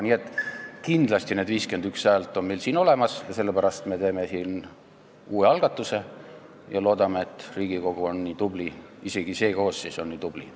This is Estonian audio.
Kindlasti on meil need 51 häält olemas, sellepärast me teeme siinkohal uue algatuse ja loodame, et Riigikogu on nii tubli, isegi see koosseis on nii tubli.